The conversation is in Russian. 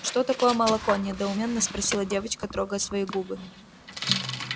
что такое молоко недоуменно спросила девочка трогая свои губы